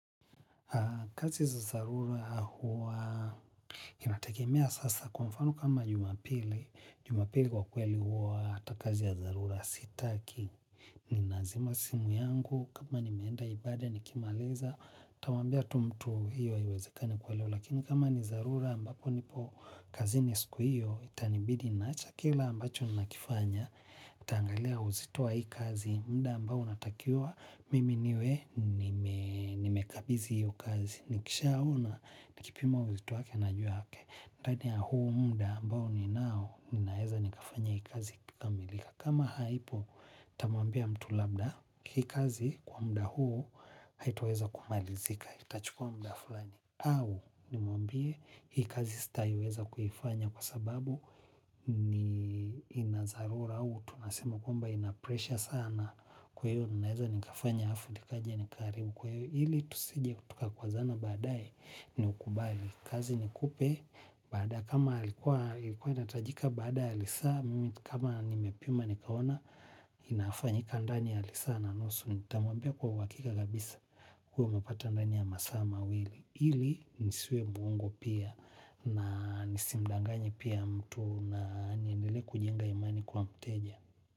Kazi za dharura huwa inategemea sasa kwa mfano kama Jumapili. Jumapili kwa kweli huwa hata kazi ya dharura sitaki. Ninazima simu yangu kama nimeenda ibada nikimaliza. Nitamwambia tu mtu hiyo haiwezekani kwa leo. Lakini kama ni dharura ambako nipo kazini siku hiyo itanibidi niache kila ambacho ninakifanya nitaangalia uzito wa hii kazi muda ambao natakiwa mimi niwe nimekabidhi hiyo kazi. Nikishaona nakupima uzito wake najua ndani ya huu muda ambao ninao ninaweza nikafanya hii kazi ikakamilika. Kama haipo nitamwambia mtu labda hii kazi kwa muda huu. Haitaweza kumalizika, nitachukua muda fulani au nimwambie hii kazi sitaweza kuifanya kwa sababu nina dharura au, tunasema kwamba inapresha sana. Kwa hiyo, ninaweza nikafanya alafu, nikaja nikaharibu. Kwa hiyo, ili tusije tukakwazana baadaye, ni ukubali kazi ni kupe badaye, kama ilikuwa inatajika baada, ya lisaa mimi, kama nimepima, nikaona, inafanyika ndani ya lisaa na nusu nitamwambia kwa uhakika kabisa kwa utapata ndani ya masaa wili. Ili nisiwe muongo pia na nisimdanganye pia mtu na niendelee kujenga imani kwa mteja.